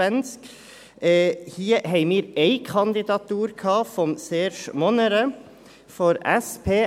Hier hatten wir eine Kandidatur von Serge Monnerat von der SP.